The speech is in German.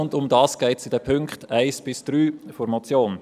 Darum geht es in den Punkten 1 bis 3 der Motion.